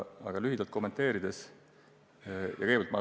Aga kommenteerin seda lühidalt.